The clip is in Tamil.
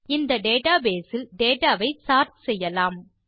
இந்த டேட்டாபேஸ் இல் டேட்டா ஐ சோர்ட் செய்யலாம்